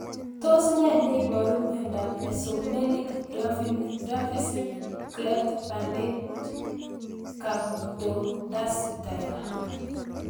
Tos nee neiparu miondop Mesomelic dwarfism cleft palate camptodactyly